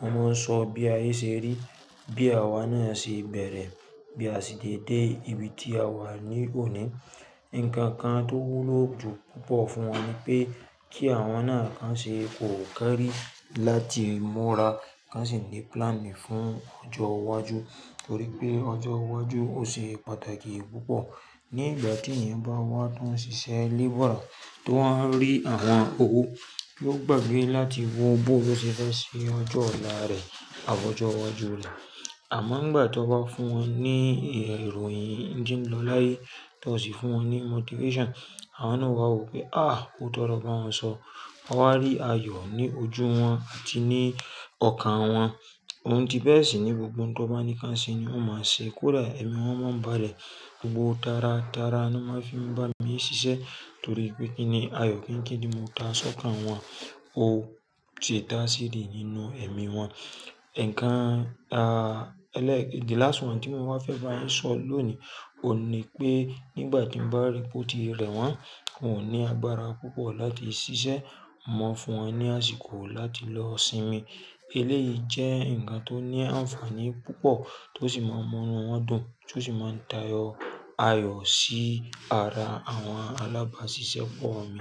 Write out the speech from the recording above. mo máa ń sọ bí ayé ṣe rí, bí àwa náà ṣe bẹ̀rẹ̀, bí a sì sé dé ibi tí àwa wà ní òní. Ǹkan kan tó wúlò jù púpọ̀ fún wọn ni pé kí àwọn náà kí wọ́n ṣe kòkari láti múra, kí wọ́n sì ní plan fún ọjọ́ iwájú torí pé ọjọ́ iwájú ò ṣe pàtàkì púpọ̀. Ní ìgbà tí èèyàn bá wá tán ṣiṣẹ́ labourer, tó wa ń rí àwọn owó, yóò gbàgbé láti wo bóo lo ṣe fẹ́ ṣe ọjọ́ ọ̀la rẹ̀ àbi ọjọ́ iwájú rẹ̀. Àmọ́ ìgbà tí ó bá fún wọn ní iròyìn ńti n lo láyé tó sì fún wọn ní motivation, àwọn náà ó bá wò pé, "à, óoto lo bá wọn sọ." Wọ́n á rí ayọ̀ ní ojú wọn àti ní ọkàn wọn. Ohun tí bẹ́ẹ̀ sì ni gbogbo ohun tó bá ní kí wọ́n ṣe ni wọ́n máa ṣe. Kódà èmi wọ́n máa ń bálẹ̀ gbogbo tara tara ni wọ́n máa fi ń bá mi ṣiṣẹ́ torí pé kíni ayọ̀ kíńkín tí mo ta sọ́kàn wọn ó ti da seed nínú èmi wọn. Ǹkan ẹlẹ́ẹ̀- the last one tí mo wáa fẹ́ bá yín sọ̀ lóòní òun ní pé nígbà tí mo bá ri p'o ti rẹ̀ wọ́n, wọn ò ní agbára púpọ̀ láti ṣiṣẹ́, mo máa fún wọn ní àsìkò láti lọ sinmi. Eléyìí jẹ́ ǹkan tó ní ànfàní púpọ̀ tó sì máa ń múnú wọn dùn, tó sì máa ń dá ayọ̀ sí ara àwọn alábáṣiṣẹ́ pọ̀ mi.